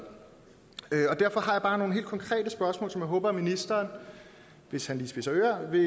derfor har jeg bare nogle helt konkrete spørgsmål som jeg håber at ministeren hvis han lige spidser ører vil